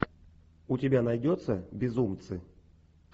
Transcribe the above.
у тебя найдется безумцы